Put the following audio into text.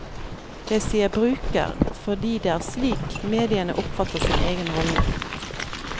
Jeg sier bruker, fordi det er slik mediene oppfatter sin egen rolle.